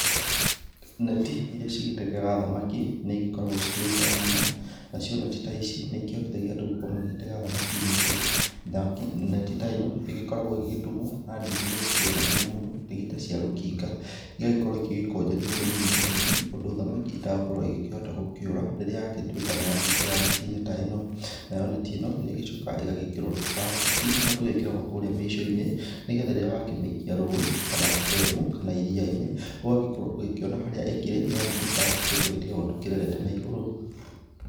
Neti irĩa cigĩtegaga thamaki nĩ igĩkoragwo ci kĩrĩ njega mũno, nacio neti ta ici nĩ ikĩhotithagia andũ gũkorwo magĩtega thamaki nyingĩ. Neti ta ĩno ĩgĩkoragwo ĩgĩgĩtumwo na ndigi irĩa cikĩrĩ na hinya mũno, ndigi ta cia rũkinga. Igagĩkorwo igĩkũnjanio tũnini tũnini ũndũ thamaki itagũkorwo igĩkĩhota gũkĩũra rĩrĩa yagĩtuĩka nĩ ya kĩingĩra neti-inĩ ta ĩno. Nayo neti ĩno nĩ ĩgĩcokaga ĩgagĩkĩrwo tũ plastic tũrĩ tũgĩkĩragwo kũrĩa mĩico-inĩ, nĩgetha rĩrĩ wakĩmĩikia rũĩ kana ndemu kana iria-inĩ. Ũgagĩkorwo ũgĩkĩona harĩa ĩkĩrĩ nĩ amu tũ plastic tũtũ tũgĩtigagwo tũkĩrerete na igũrũ.